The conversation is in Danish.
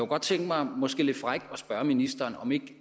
godt tænke mig måske lidt frækt at spørge ministeren om ikke